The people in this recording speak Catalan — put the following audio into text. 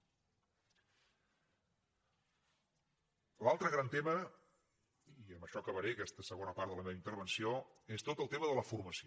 l’altre gran tema i amb això acabaré aquesta segona part de la meva intervenció és tot el tema de la formació